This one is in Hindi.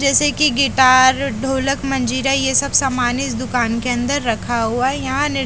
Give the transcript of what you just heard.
जैसे कि गिटार ढोलक मंजीरा ये सब सामान इस दुकान के अंदर रखा हुआ है यहां--